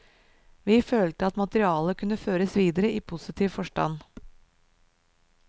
Vi følte at materialet kunne føres videre i positiv forstand.